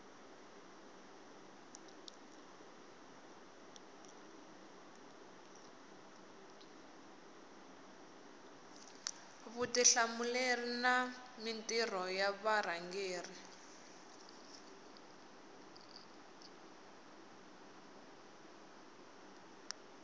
vutihlamuleri na mintirho ya varhangeri